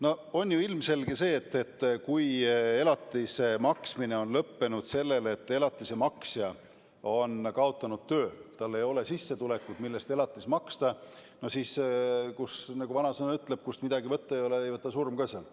No on ju ilmselge, et kui elatise maksmine on lõppenud sellel põhjusel, et elatise maksja on kaotanud töö, tal ei ole sissetulekut, mille eest elatist maksta, siis on nii, nagu vanasõna ütleb: kust midagi võtta ei ole, sealt ei võta surm ka.